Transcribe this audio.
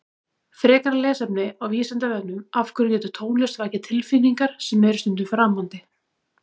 Frekara lesefni á Vísindavefnum Af hverju getur tónlist vakið tilfinningar sem eru stundum framandi?